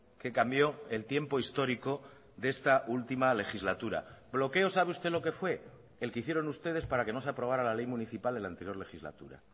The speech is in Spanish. que cambió el tiempo histórico de esta última legislatura bloqueo sabe usted lo qué fue el que hicieron ustedes para que no se aprobara la ley municipal en la anterior legislatura